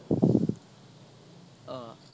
অহ